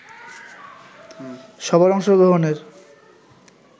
সবার অংশগ্রহণের